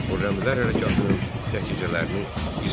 Xürrəmilər hərəkatının nəticələrini izah et.